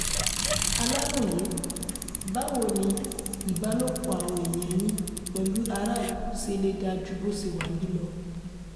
aláròye báwo ni ìbálòpọ̀ àwọn èèyàn yín pẹ̀lú aráàlú se lè dáa ju bó se wà yìí lọ